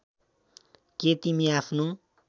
के तिमी आफ्नो